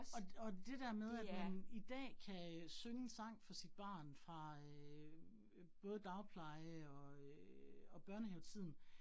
Og og det der med, at man i dag kan øh synge en sang for sit barn fra øh både dagpleje og øh og børnehavetiden